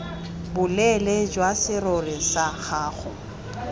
boleele jwa serori sa gago